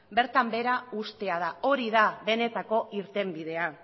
bertan behera uztea da hori da benetako irtenbidea